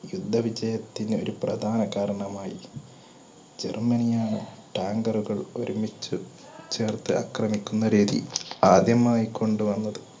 യുദ്ധ വിജയത്തിന് ഒരു പ്രധാന കാരണമായി. ജർമ്മനിയായ tank റുകൾ ഒരുമിച്ച് ചേർത്ത് അക്രമിക്കുന്ന രീതി ആദ്യമായി കൊണ്ടുവന്നത്